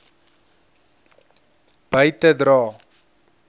by te dra